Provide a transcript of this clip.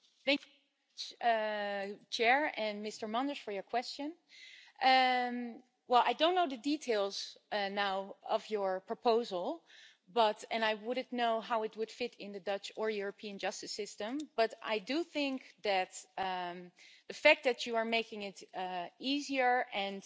Thank you Mr Manders for your question. I don't know the details now of your proposal and I wouldn't know how it would fit in the Dutch or European justice system, but I do think the fact that you are making it easier and